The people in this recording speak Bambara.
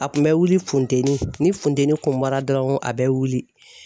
A kun bɛ wuli funteni ni funteni kun bɔra dɔrɔn a bɛ wuli.